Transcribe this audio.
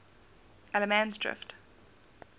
allemansdrift